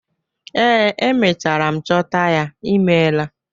Ee, emechara m chọta ya. Ị meela.